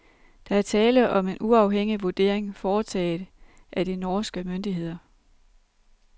Der er tale om en uafhængig vurdering foretaget af de norske myndigheder.